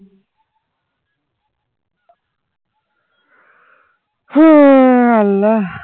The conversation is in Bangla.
হে আল্লাহ